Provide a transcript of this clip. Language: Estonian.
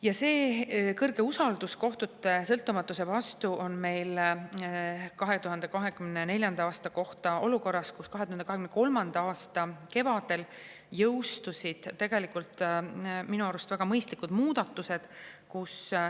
Ja see suur usaldus kohtute sõltumatuse vastu ilmnes meil 2024. aastal olukorras, kus 2023. aasta kevadel jõustusid tegelikult minu arust väga mõistlikud muudatused.